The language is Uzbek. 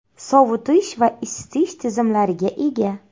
Sovutish va isitish tizimlariga ega.